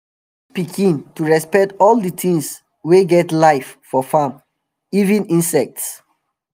i dey teach pikin to respect all d tings wey get life for farm even insects